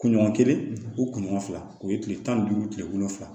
Kunɲɔgɔn kelen o kunɲɔgɔn fila o ye tile tan ni duuru tile wolonwula